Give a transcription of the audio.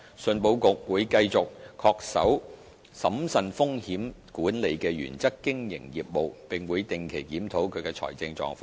信保局會繼續恪守審慎風險管理的原則經營業務，並會定期檢討其財政狀況。